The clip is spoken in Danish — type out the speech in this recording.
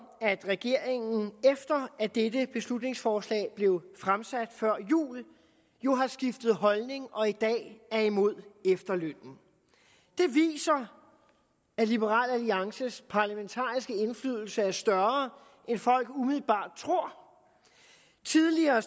at regeringen efter at dette beslutningsforslag blev fremsat før jul jo har skiftet holdning og i dag er imod efterlønnen det viser at liberal alliances parlamentariske indflydelse er større end folk umiddelbart tror tidligere